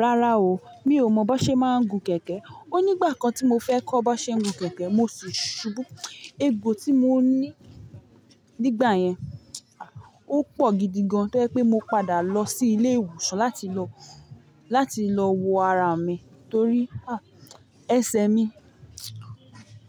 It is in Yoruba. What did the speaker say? Rárá o, mi ò mọ bó ṣe máa ń gun kẹ̀kẹ́. O nígbà kan tí mo fẹ́ kọ́ bó ṣe ń gun kẹ̀kẹ́, mo sì ṣubú. Egbò tí mo ní nígbà yẹn, o pọ̀ gidi gan-an tó ẹ́ pé mo padà lọ sí ilé ìwòsàn láti lọ, láti lọ wo ara mi torí ẹsẹ̀ mi,